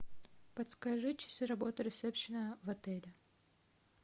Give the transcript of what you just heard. подскажи часы работы ресепшена в отеле